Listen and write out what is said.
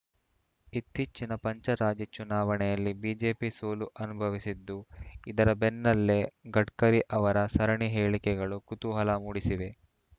ಇತ್ತೀಚಿನ ಪಂಚರಾಜ್ಯ ಚುನಾವಣೆಯಲ್ಲಿ ಬಿಜೆಪಿ ಸೋಲು ಅನುಭವಿಸಿದ್ದು ಇದರ ಬೆನ್ನಲ್ಲೇ ಗಡ್ಕರಿ ಅವರ ಸರಣಿ ಹೇಳಿಕೆಗಳು ಕುತೂಹಲ ಮೂಡಿಸಿವೆ